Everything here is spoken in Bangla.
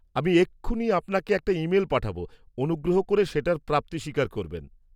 -আমি এক্ষুনি আপনাকে একটা ইমেল পাঠাবো, অনুগ্রহ করে সেটার প্রাপ্তি স্বীকার করবেন।